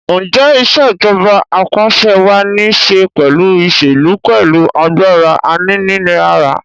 Ǹjẹ́ Ìṣèjọba Ap'àṣẹwàá ní ṣe pẹ̀lú ìṣèlú pẹ̀lú agbára aninilára?